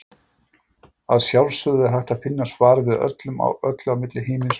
Að sjálfsögðu er hægt að finna svar við öllu á milli himins og jarðar.